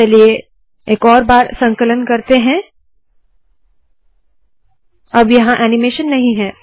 चलिए एक और बार संकलन करते है अब यहाँ ऐनीमेशन नहीं है